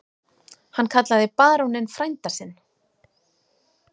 Hann kallaði baróninn frænda sinn.